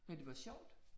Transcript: Men det var sjovt